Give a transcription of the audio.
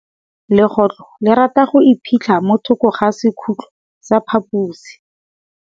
Legôtlô le rata go iphitlha mo thokô ga sekhutlo sa phaposi.